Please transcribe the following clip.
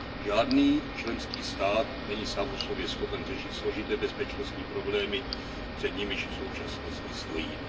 Žádný členský stát není sám o sobě schopen řešit složité bezpečnostní problémy, před nimiž v současnosti stojíme.